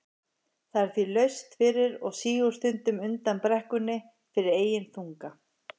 Það er því laust fyrir og sígur stundum undan brekkunni fyrir eigin þunga.